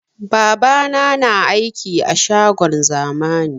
Babana na aiki a shagon zamani